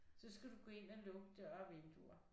Så skal du gå ind og lukke døre og vinduer